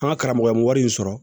An ka karamɔgɔ ye wari in sɔrɔ